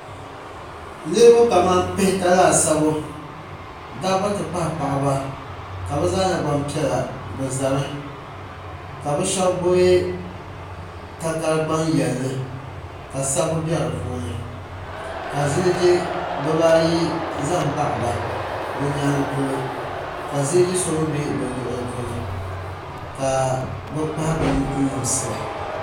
Niriba kaman pihita laasabu dabba ti pahi paɣiba ka bi zaa nyɛ gbaŋ piɛlla bi za mi ka bi shɛba gbubi takara gbaŋ yɛlin li ka sabibu bɛ di puuni ka ziliji bi ba ayi zaya n baɣi ba bi yɛanga polo ka ziliji so mi bɛ bi luɣili polo ka bi kpahi bini n limsi ba.